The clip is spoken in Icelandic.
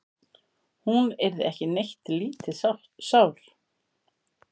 Hún yrði ekki neitt lítið sár.